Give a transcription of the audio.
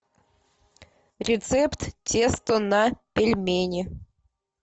рецепт теста на пельмени